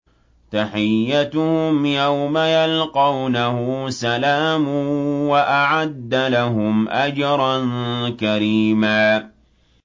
تَحِيَّتُهُمْ يَوْمَ يَلْقَوْنَهُ سَلَامٌ ۚ وَأَعَدَّ لَهُمْ أَجْرًا كَرِيمًا